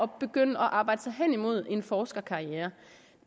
begynde at arbejde sig hen imod en forskerkarriere